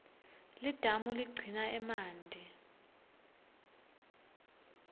lidamu ligcina emanti